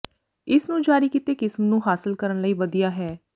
ਇਸ ਨੂੰ ਜਾਰੀ ਕੀਤੇ ਕਿਸਮ ਨੂੰ ਹਾਸਲ ਕਰਨ ਲਈ ਵਧੀਆ ਹੈ